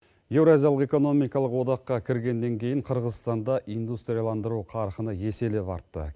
еуразиялық экономиқалық одаққа кіргеннен кейін қырғызстанда индустрияландыру қарқыны еселеп артты